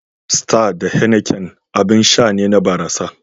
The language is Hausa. Star da Heineken abin sha ne na barasa.